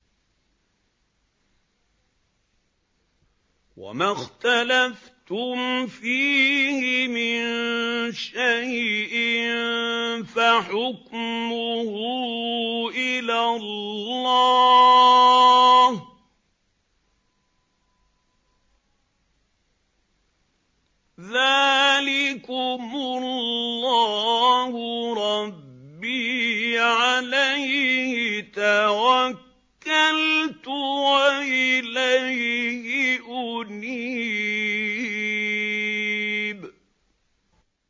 وَمَا اخْتَلَفْتُمْ فِيهِ مِن شَيْءٍ فَحُكْمُهُ إِلَى اللَّهِ ۚ ذَٰلِكُمُ اللَّهُ رَبِّي عَلَيْهِ تَوَكَّلْتُ وَإِلَيْهِ أُنِيبُ